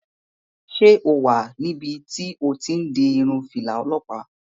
Ṣé o sì wà níbi tí o ti n di irun fìlà olọ́pàá?